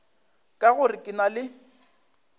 ka gore ke na le